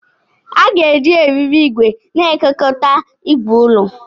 A ga-eji eriri igwe na-ekekọta igwe ulọ.